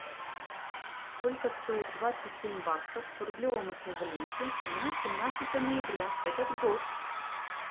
сколько стоит двадцать семь баксов в рублевом эквиваленте на семнадцатое ноября этот год